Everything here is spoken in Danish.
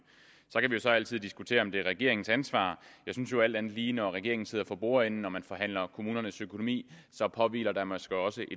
vi kan så altid diskutere om det er regeringens ansvar jeg synes jo alt andet lige at når regeringen sidder for bordenden når man forhandler om kommunernes økonomi påhviler der måske også